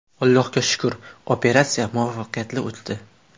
Allohga shukr, operatsiya muvaffaqiyatli o‘tdi.